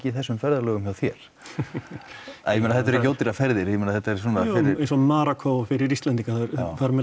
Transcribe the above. þessum ferðalögum hjá þér ég meina þetta eru ekki ódýrar ferðir ég meina þetta eru svona jújú eins og Marokkó að fyrir Íslendinga fara með